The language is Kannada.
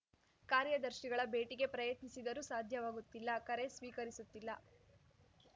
ಕಾರ್ಯದರ್ಶಿಗಳ ಭೇಟಿಗೆ ಪ್ರಯತ್ನಿಸಿದರೂ ಸಾಧ್ಯವಾಗುತ್ತಿಲ್ಲ ಕರೆ ಸ್ವೀಕರಿಸುತ್ತಿಲ್ಲ